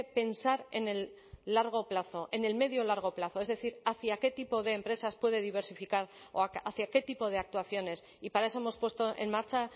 pensar en el largo plazo en el medio y largo plazo es decir hacia qué tipo de empresas puede diversificar hacia qué tipo de actuaciones y para eso hemos puesto en marcha